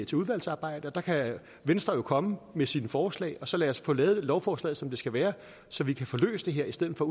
til udvalgsarbejde og der kan venstre jo komme med sine forslag og så kan vi få lavet lovforslaget som det skal være så vi kan få løst det her i stedet for